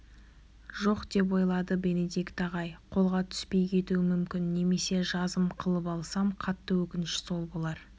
жоқ деп ойлады бенедикт ағай қолға түспей кетуі мүмкін немесе жазым қылып алсам қатты өкініш сол болар